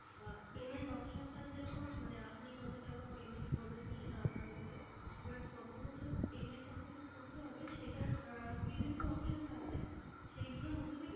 আহ payment options টা যেরকম মানে আপনি কত টাকা payment করবেন সেটা আপনার উপরে। এবার কত বছর payment আপনাকে করতে হবে সেটার আহ কিছু কিছু options আছে সেই গুলোর মধ্যে থেকেই